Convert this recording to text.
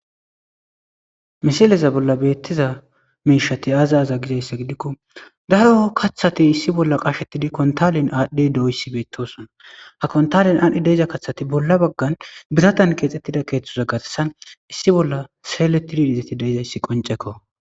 Missileza bolla bettiza mishshati azza azze gizayssa gidiko daaro kaththati issi bolla qashshetidi konttalen adhdhidi diizaysi betossona ha konttalen adhdhi deiza kaththati bolla baggan biratan kexxetida keththeza garssan issi bolla selletidi izzeti deizayssi qoncceko.